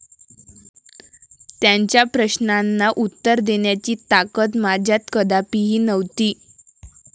त्यांच्या प्रश्नांना उत्तर देण्याची ताकद माझ्यात कदापिही नव्हती.